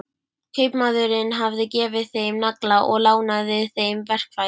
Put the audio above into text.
Kaupmaðurinn hafði gefið þeim nagla og lánað þeim verkfæri.